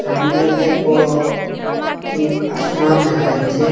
সামনে অনেক বড় একটি আসমান দেখা যাচ্ছে।